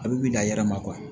A bɛ wili a yɛrɛ ma